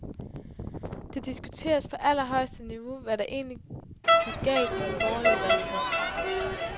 Det diskuteres på allerhøjeste niveau, hvad der egentlig gik galt i den borgerlige valgkamp.